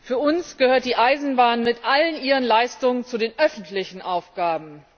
Für uns gehört die Eisenbahn mit allen ihren Leistungen zu den öffentlichen Aufgaben.